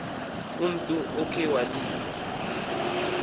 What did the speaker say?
umntu okhe walinga